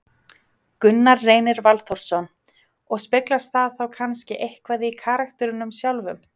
Gunnar Reynir Valþórsson: Og speglast það þá kannski eitthvað í karakternum sjálfum?